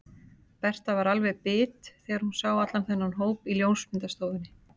Berta var alveg bit þegar hún sá allan þennan hóp í ljósmyndastofunni.